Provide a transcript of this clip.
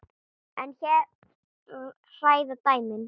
En hér hræða dæmin.